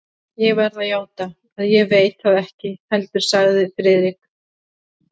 Ég verð að játa, að ég veit það ekki heldur sagði Friðrik.